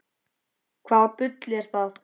Hvaða bull er það?